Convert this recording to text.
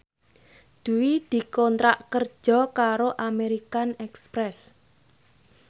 Dwi dikontrak kerja karo American Express